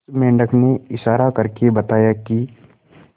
उस मेंढक ने इशारा करके बताया की